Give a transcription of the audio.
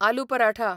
aloo paratha